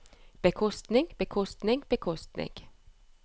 bekostning bekostning bekostning